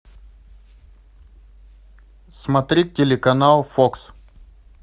смотреть телеканал фокс